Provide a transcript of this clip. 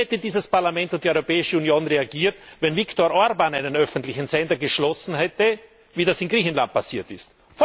Wie hätten dieses Parlament und die Europäische Union reagiert, wenn Viktor Orbán einen öffentlichen Sender geschlossen hätte, wie das in Griechenland passiert ist?